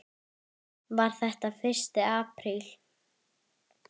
Var þetta fyrsti apríl?